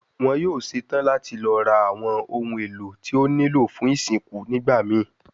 Wọn yoo ṣetan lati lọ ra awọn ohun elo ti o nilo fun isinku nigbamii